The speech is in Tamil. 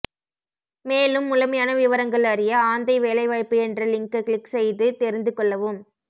மேலும் முழுமையான விவரங்கள் அறிய ஆந்தை வேலைவாய்ப்பு என்ற லிங்க க்ளிக் செய்து தெரிந்து கொள்ளவும்